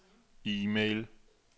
e-mail